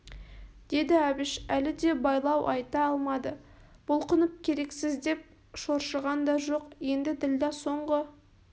деді әбіш әлі де байлау айта алмады бұлқынып керексіз деп шоршыған да жоқ енді ділдә соңғы